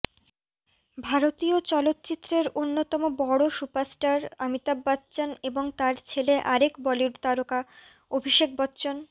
ভারতীয় চলচ্চিত্রের অন্যতম বড় সুপারস্টার অমিতাভ বচ্চন এবং তার ছেলে আরেক বলিউড তারকা অভিষেক বচ্চন